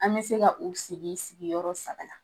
An be se k'u sigi sigiyɔrɔ saba la